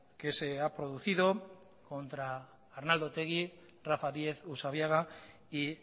que se ha producido contra arnaldo otegi rafa diez usabiaga y